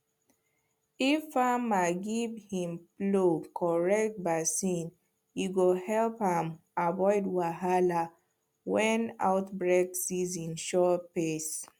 if farmer give him flow correct vaccine e go help am avoid wahala when outbreak season shor face